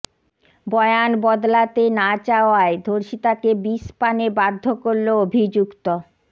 বয়ান বদলাতে না চাওয়ায় ধর্ষিতাকে বিষপানে বাধ্য করল অভিযুক্ত